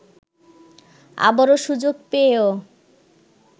আবারো সুযোগ পেয়েও